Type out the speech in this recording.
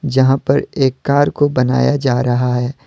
जहां पर एक कार को बनाया जा रहा है।